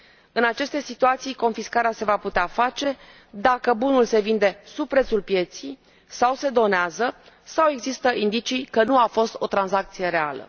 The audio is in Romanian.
În aceste situații confiscarea se va putea face dacă bunul se vinde sub prețul pieței sau se donează sau există indicii că nu a fost o tranzacție reală.